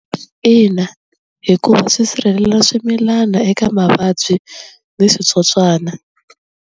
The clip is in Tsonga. Ina hikuva swi sirhelela swimilana eka mavabyi ni switsotswana.